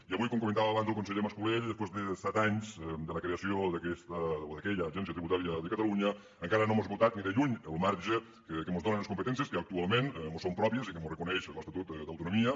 i avui com comentava abans el conseller mas colell després de set anys de la creació d’aquesta o d’aquella agència tributària de catalunya encara no hem esgotat ni de lluny el marge que mos donen les competències que actualment mos són pròpies i que mos reconeix l’estatut d’autonomia